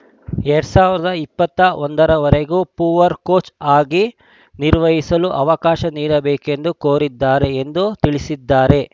ಎರಡ್ ಸಾವಿರದ ಇಪ್ಪತ್ತ ಒಂದರ ವರೆಗೂ ಪೊವಾರ್‌ ಕೋಚ್‌ ಆಗಿ ಕಾರ್ಯನಿರ್ವಹಿಸಲು ಅವಕಾಶ ನೀಡಬೇಕೆಂದು ಕೋರಿದ್ದಾರೆ ಎಂದು ತಿಳಿಸಿದ್ದಾರೆ